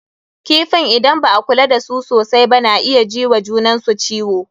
Kifin idan ba a kula da su sosai ba na iya ji wa junan su ciwo.